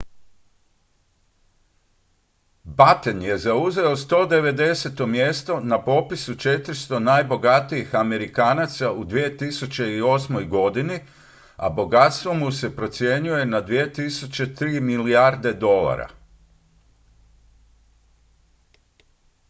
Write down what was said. batten je zauzeo 190. mjesto na popisu 400 najbogatijih amerikanaca u 2008. godini a bogatstvo mu se procjenjuje na 2,3 milijarde dolara